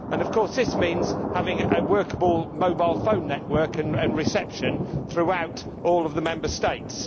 Of course, this means having a workable mobile phone network and reception throughout all of the Member States.